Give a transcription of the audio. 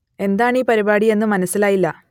എന്താണ് ഈ പരിപാടി എന്നു മനസ്സിലായില്ല